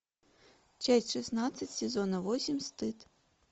часть шестнадцать сезона восемь стыд